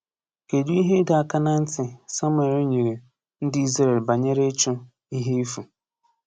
Kedụ ihe ịdọ aka na ntị Samuel nyere ndị Izrel banyere ịchụ “ihe efu"?